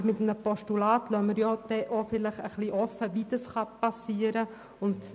Aber bei einem Postulat lassen wir offen, wie dies passieren kann.